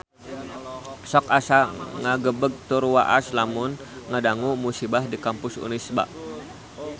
Sok asa ngagebeg tur waas lamun ngadangu musibah di Kampus Unisba